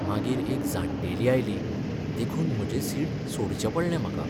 मागीर एक जाण्टेली आयली देखून म्हजे सीट सोडचें पडलें म्हाका.